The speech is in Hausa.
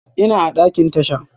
Ina a ɗakin tasha.